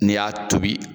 N'i y'a tobi